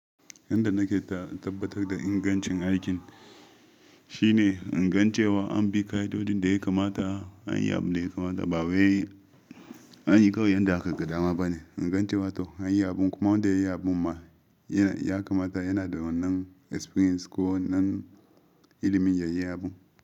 Yanda nake tabbatar da ingancin aikin shine ingancewa an bi ka'idojin da ya kamata, an yi abin da ya kamata. Bawai an yi kawai yanda aka ga dama bane, ingancewa to an yi abun kuma wanda ya yi abun ma ya kamata yana da wannan experience ko nan ilimin yayi abun.